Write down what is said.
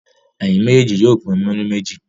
Ẹ̀yin méjèèjì yóò pín múrí méjì.